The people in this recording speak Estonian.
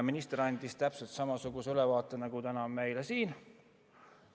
Minister andis täpselt samasuguse ülevaate nagu täna siin.